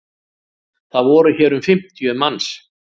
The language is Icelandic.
Það voru hér um fimmtíu manns